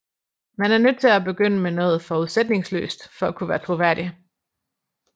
Man er nødt til at begynde med noget forudsætningsløst for at kunne være troværdig